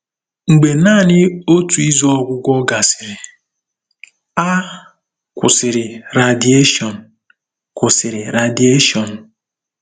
Mgbe naanị otu izu ọgwụgwọ gasịrị, a kwụsịrị radieshon. kwụsịrị radieshon.